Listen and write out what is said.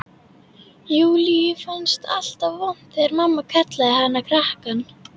Júlíu fannst alltaf vont þegar mamma kallaði hana krakkann.